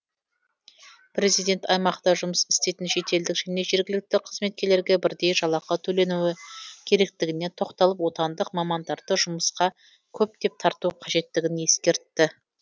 президент аймақта жұмыс істейтін шетелдік және жергілікті қызметкерлерге бірдей жалақы төленуі керектігіне тоқталып отандық мамандарды жұмысқа көптеп тарту қажеттігін ескертті